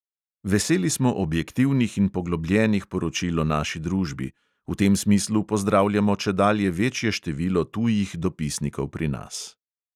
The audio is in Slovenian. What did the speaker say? Veseli smo objektivnih in poglobljenih poročil o naši družbi; v tem smislu pozdravljamo čedalje večje število tujih dopisnikov pri nas.